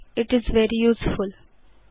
इत् is very useful